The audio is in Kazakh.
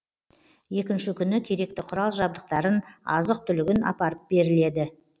екінші күні керекті құрал жабдықтарын азық түлігін апарып беріледі